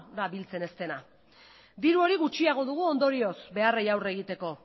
da biltzen ez dena diru hori gutxiago dugu ondorioz beharrei aurre egiteko